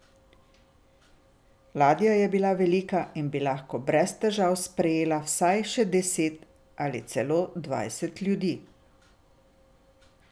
Ladja je bila velika in bi lahko brez težav sprejela vsaj še deset ali celo dvajset ljudi.